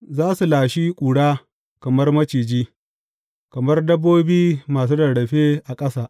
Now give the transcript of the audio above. Za su lashi ƙura kamar maciji, kamar dabbobi masu rarrafe a ƙasa.